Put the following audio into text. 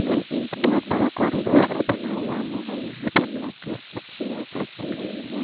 यह एक बहुत बड़ा कॉरिडोर सा बना हुआ है और यहाँ पे ब्लैक कलर की चेयर्स रखी हुई है।